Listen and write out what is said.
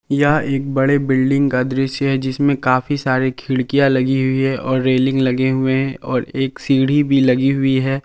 यह एक बड़े बिल्डिंग का दृश्य है जिसमें काफी सारे खिड़कियां लगी हुई है और रेलिंग लगे हुए हैं और एक सीढ़ी भी लगी हुई है।